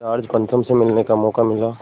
George पंचम से मिलने का मौक़ा मिला